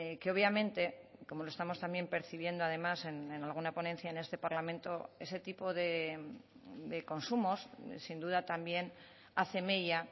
que obviamente como lo estamos también percibiendo además en alguna ponencia en este parlamento ese tipo de consumos sin duda también hace mella